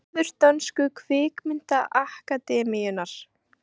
Vefur dönsku kvikmyndaakademíunnar